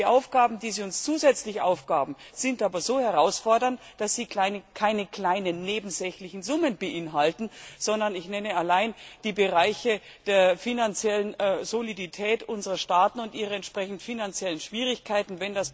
Die Aufgaben, die Sie uns zusätzlich aufgegeben haben, sind aber so herausfordernd, dass sie keine kleinen nebensächlichen Summen beinhalten ich nenne hier nur die Bereiche der finanziellen Solidität unserer Staaten und ihre entsprechend finanziellen Schwierigkeiten.